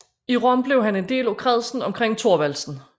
I Rom blev han en del af kredsen omkring Thorvaldsen